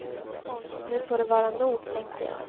Nu får det vara nog, tänkte jag.